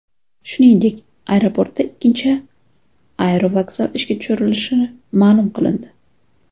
Shuningdek, aeroportda ikkinchi aerovokzal ishga tushirilishi ma’lum qilindi .